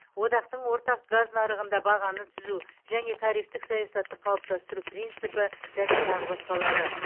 одақтың ортақ газ нарығында бағаны түзу және тарифтік саясатты қалыптастыру принципі және тағы басқалары